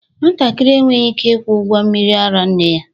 Nwatakịrị enweghị ike ịkwụ ụgwọ mmiri ara nne ya